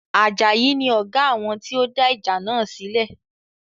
Ajayi ni Ọ̀gá àwọn tí ó dá ìjà náà sílẹ̀